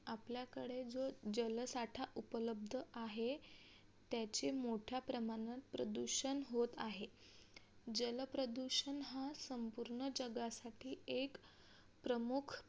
आपल्याकडे जो जलसाठा उपलब्ध आहे. त्याचे मोठ्या प्रमाणात प्रदूषण होत आहे जल प्रदूषण हा संपूर्ण जगासाठी एक प्रमुख